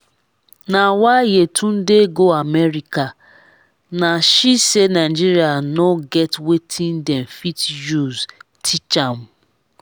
na why yetunde go america nah she say nigeria no get wetin dem fit use teach am